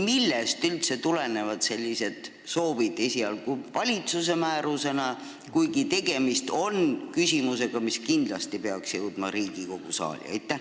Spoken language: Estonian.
Millest üldse tulenes selline soov, et esialgu teha see valitsuse määrusena, kuigi tegemist on küsimusega, mis kindlasti peaks jõudma Riigikogu saali?